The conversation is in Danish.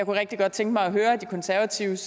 rigtig godt tænke mig at høre de konservatives